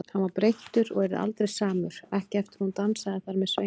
Hann var breyttur og yrði aldrei samur, ekki eftir að hún dansaði þar með Sveini.